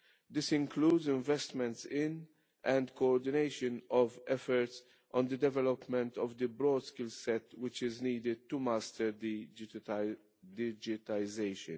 This includes investments in, and coordination of, efforts on the development of the broad skills set which is needed to master the digitalisation.